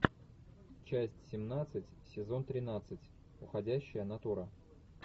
часть семнадцать сезон тринадцать уходящая натура